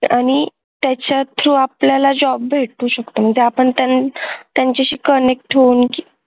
आणि त्याच्यात जो आपल्याला job भेटू शकतो म्हणजे आपण त्यांचं त्यांच्याशी connect होवून